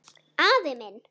Afi minn